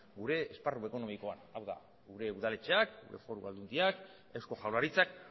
gure esparru ekonomikoan hau da gure udaletxeak foru aldundiak eusko jaurlaritzak